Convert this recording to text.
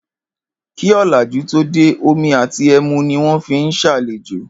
Kí ò̩làjú tó dé, omi àti e̩mu ni wó̩n fi ń s̩àlejò